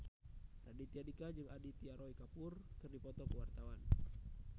Raditya Dika jeung Aditya Roy Kapoor keur dipoto ku wartawan